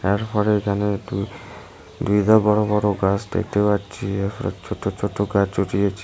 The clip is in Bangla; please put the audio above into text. এরপরে এইখানে দুই ধা বড় বড় গাছ দেখতে পারছি এরপর ছোট ছোট গাছ ও রয়েছে।